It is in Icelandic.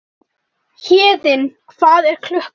Héðinn, hvað er klukkan?